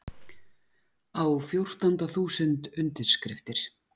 Á fjórtánda þúsund undirskriftir